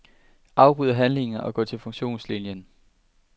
Afbryd handlingen og gå til funktionslinien.